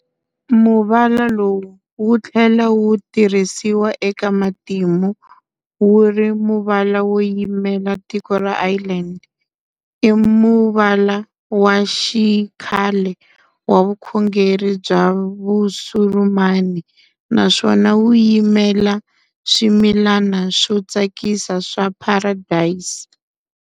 Muvala lowu wu thlela wu tirhisiwa eka matimu wuri muvala wo yimela tiko ra Ireland. Imuvala wa xikhale wa vukhongeri bya Vusurumani, naswona wu yimela swimilana swo tsakisa swa Paradesi.